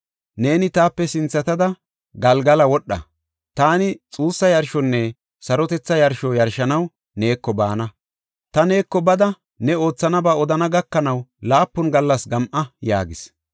“Neeni taape sinthatada Galgala wodha. Taani xuussa yarshonne sarotetha yarsho yarshanaw neeko baana. Ta neeko bada ne oothanaba odana gakanaw laapun gallas gam7a” yaagis.